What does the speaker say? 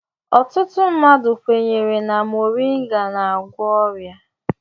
Ọtụtụ mmadụ kwenyere na moringa n'agwọ ọrịa.